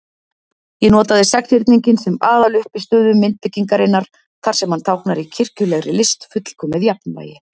Ég notaði sexhyrninginn sem aðaluppistöðu myndbyggingarinnar, þar sem hann táknar í kirkjulegri list fullkomið jafnvægi.